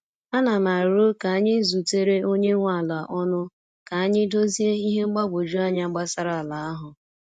A na m aro ka anyị zutere onye nwe ala ọnụ ka anyị dozie ihe mgbagwoju anya gbasara ala ahụ.